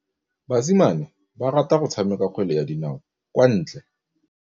Basimane ba rata go tshameka kgwele ya dinaô kwa ntle.